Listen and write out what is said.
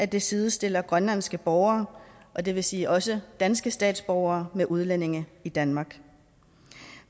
det sidestiller grønlandske borgere og det vil sige også danske statsborgere med udlændinge i danmark